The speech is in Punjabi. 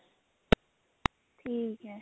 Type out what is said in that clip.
ਠੀਕ ਐ